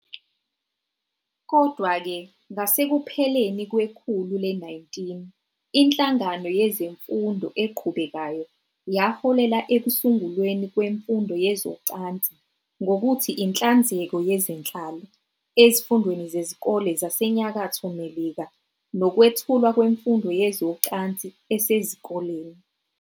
Kodwa-ke, ngasekupheleni kwekhulu le-19, inhlangano yezemfundo eqhubekayo yaholela ekusungulweni kwemfundo yezocansi ngokuthi " inhlanzeko yezenhlalo " ezifundweni zezikole zaseNyakatho Melika nokwethulwa kwemfundo yezocansi esezikoleni.